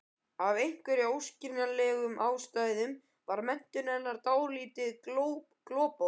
Af einhverjum óskiljanlegum ástæðum var menntun hennar dálítið gloppótt.